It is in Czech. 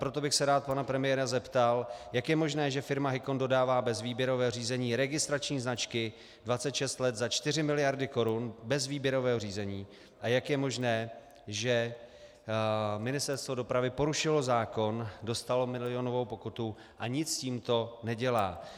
Proto bych se rád pana premiéra zeptal, jak je možné, že firma Hicon dodává bez výběrového řízení registrační značky 26 let za 4 miliardy korun bez výběrového řízení, a jak je možné, že Ministerstvo dopravy porušilo zákon, dostalo milionovou pokutu a nic s tímto nedělá.